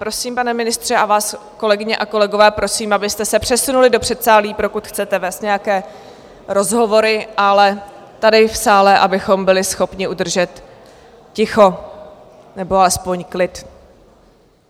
Prosím, pane ministře, a vás, kolegyně a kolegové, prosím, abyste se přesunuli do předsálí, pokud chcete vést nějaké rozhovory, ale tady v sále abychom byli schopni udržet ticho nebo aspoň klid.